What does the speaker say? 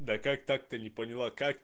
да как так-то не поняла как